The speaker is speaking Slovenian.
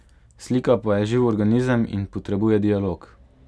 Slika pa je živ organizem in potrebuje dialog.